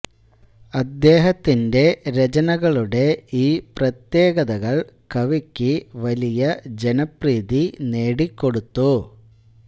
അദ്ദേഹത്തിന്റെ രചനകളുടെ ഈ പ്രത്യേകതകൾ കവിക്ക് വലിയ ജനപ്രീതി നേടിക്കൊടുത്തു